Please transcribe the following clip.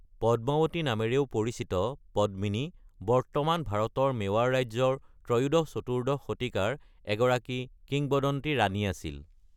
পদ্মাৱতী নামেৰেও পৰিচিত পদ্মণী বৰ্তমান ভাৰতৰ মেৱাৰ ৰাজ্যৰ ত্ৰয়োদশ-চতুৰ্দশ শতিকাৰ এগৰাকী কিংবদন্তি ৰাণী আছিল।